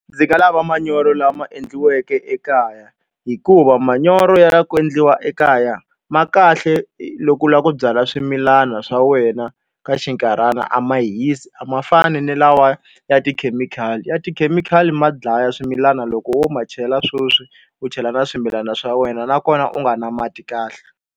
Ndzi nga lava manyoro lama endliweke ekaya. Hikuva manyoro ya ku endliwa ekaya ma kahle loko u lava ku byala swimilana swa wena ka xinkarhana, a ma hisi a ma fani ni lawa ya tikhemikhali. Ya tikhemikhali ma dlaya swimilana loko wo ma chela sweswi, u chela na swimilana swa wena nakona u nga ri na mati kahle.